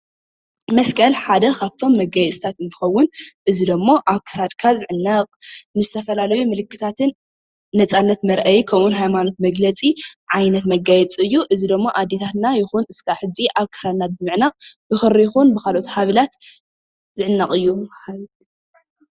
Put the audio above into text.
መስቀል ሓደ ካብቶም መጋየፅታት እንትኸውን፣ እዚ ድማ ኣብ ክሳድካ ዝዕነቕ ንዝተፈላለዩ ምልክታትን ምልክት ነፃነት መርኣዪ ከምኡውን ሃይማኖት መግለፂ ዓይነት መጋየፂ እዩ፡፡ እዚ ድማ ኣዴታትና ይኹን ክሳብ ሕዚ ኣብ ክሳድና ብምዕናቕ ብኽሪ ይኹን ብካልኦት ሃብላት ዝዕነቕ እዩ፡፡